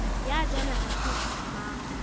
ya jwalo ha se mang